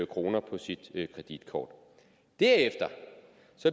kroner på sit kreditkort derefter